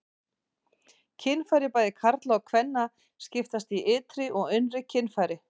Kynfæri bæði karla og kvenna skiptast í ytri og innri kynfæri.